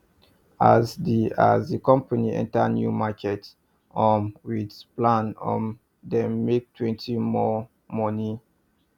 as the as the company enter new market um with plan um dem make twenty more money